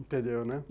Entendeu, né?